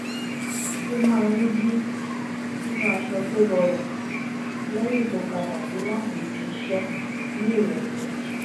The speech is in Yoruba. ó maá ń yí sínú aṣọ tó rọrùn lẹ́yìn tó padà dé láti ibi iṣẹ́ ní ìrọ̀lẹ́